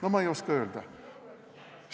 No ma ei oska öelda!